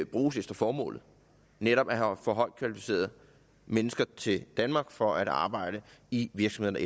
bruges efter formålet netop at få højt kvalificerede mennesker til danmark for at arbejde i virksomheder